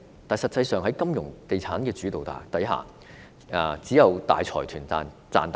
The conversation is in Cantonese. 但實際上，在金融地產主導之下，只有大財團能賺大錢。